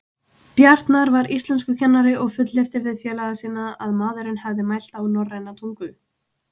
Bjartmar var íslenskukennari og fullyrti við félaga sína að maðurinn hefði mælt á norræna tungu.